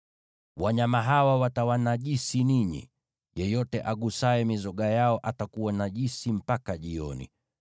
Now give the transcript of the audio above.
“ ‘Mtajinajisi kwa wanyama hawa. Yeyote agusaye mizoga yao atakuwa najisi mpaka jioni.